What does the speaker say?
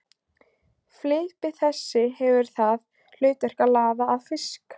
Flipi þessi hefur það hlutverk að laða að fisk.